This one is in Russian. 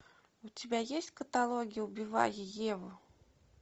у тебя есть в каталоге убивая еву